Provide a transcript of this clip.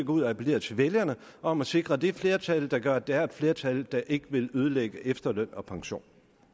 ud og appellere til vælgerne om at sikre det flertal der gør at der er et flertal der ikke vil ødelægge efterløn og pension